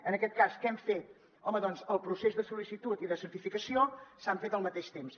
en aquest cas què hem fet home doncs el procés de sol·licitud i de certificació s’han fet al mateix temps